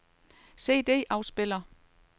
CD-afspiller